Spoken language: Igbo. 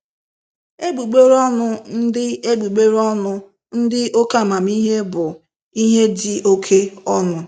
Egbugbere ọnụ ndị Egbugbere ọnụ ndị oke amamihe bụ " ihe dị oke ọnụ "